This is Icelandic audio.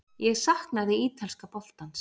Ég saknaði ítalska boltans.